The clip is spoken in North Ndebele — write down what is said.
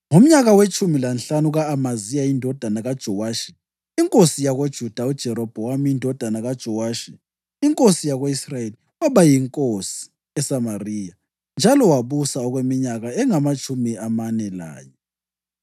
Ngomnyaka wetshumi lanhlanu ka-Amaziya indodana kaJowashi inkosi yakoJuda, uJerobhowamu indodana kaJowashi inkosi yako-Israyeli waba yinkosi eSamariya, njalo wabusa okweminyaka engamatshumi amane lanye.